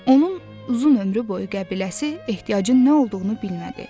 Onun uzun ömrü boyu qəbiləsi ehtiyacın nə olduğunu bilmədi.